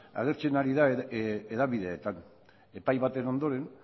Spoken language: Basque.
agertzen ari dira hedabideetan epai baten ondoren